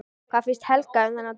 Hvað fannst Helga um þann dóm?